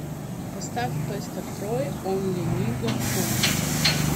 поставь пэстор трой онли нигга кул